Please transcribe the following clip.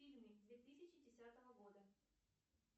фильмы две тысячи десятого года